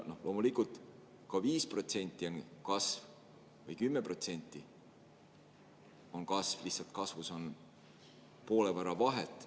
Loomulikult ka 5% on kasv ja 10% on kasv, lihtsalt kasvus on poole võrra vahet.